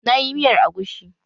Na yi miyar agushi